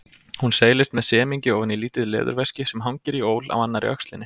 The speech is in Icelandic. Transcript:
Hún seilist með semingi ofan í lítið leðurveski sem hangir í ól á annarri öxlinni.